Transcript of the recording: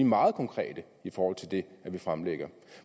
meget konkrete i forhold til det vi fremlægger